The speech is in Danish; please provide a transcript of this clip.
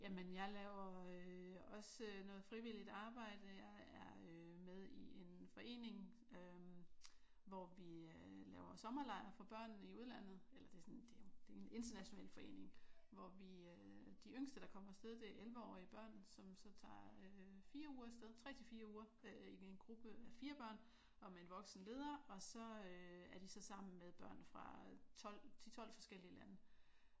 Jamen jeg laver øh også noget frivilligt arbejde. Jeg er øh med i en forening øh hvor vi laver sommerlejr for børn i udlandet. Eller det sådan det er jo en international forening hvor vi øh de yngste der kommer af sted det er 11-årige børn som så tager øh 4 uger af sted 3 til 4 uger i en gruppe af 4 børn og med en voksen leder og så er de så sammen med 12 10-12 forskellige lande